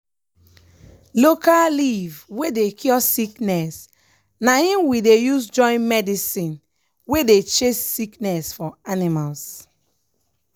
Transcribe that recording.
local leaf wey dey cure sickness na im we dey use join medicine wey dey chase sickness for animals.